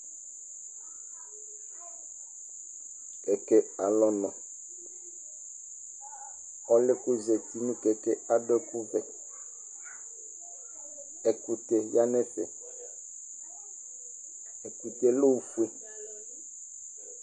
Kɛkɛ alu ɔnʋ Ɔlʋ yɛ kʋ ozǝti nʋ kɛkɛ yɛ adu ɛkʋvɛ Ɛkʋtɛ ya nʋ ɛfɛ Ɛkʋtɛ yɛ lɛ ofue